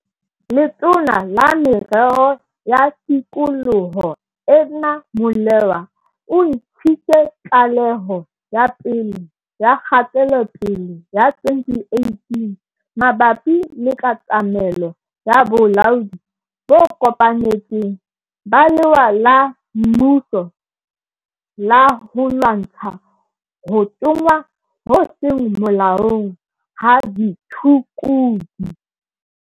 Letona la Merero ya Tikoloho, Edna Molewa, o ntshitse tlaleho ya pele ya kgatelopele ya 2018 mabapi le katamelo ya bolaodi bo kopanetsweng ba lewa la mmuso la ho lwantsha ho tsongwa ho seng molaong ha ditshukudu.